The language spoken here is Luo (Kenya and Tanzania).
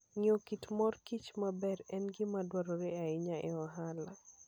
Ng'eyo kit mor kich maber en gima dwarore ahinya e ohala.